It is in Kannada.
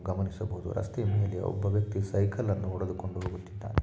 ಇಲ್ಲಿ ಗಮನಿಸ ಬಹುದು ರಸ್ತೆಯ ಮೇಲೆ ಒಬ್ಬ ವೆಕ್ತಿ ಸೈಕಲನು ಹೂಡೆದು ಕೊಂಡು ಹೂಗುತಿದ್ದಾನೆ